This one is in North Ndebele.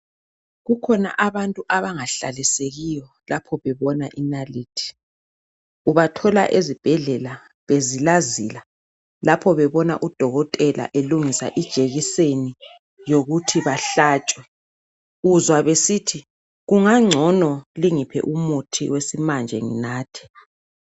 Kukhona abantu abangahlalisekiwo lapho bebona inalithi. Ubathola ezibhedlela bezilazila lapho bebona udokotela elungisa ijekiseni yokuthi bahlatshwe. Uzwa besithi " kungangcono lingiphe umuthi wesimanje nginathe."